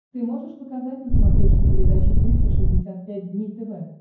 ты можешь показать на смотрешке передачу триста шестьдесят пять дней тв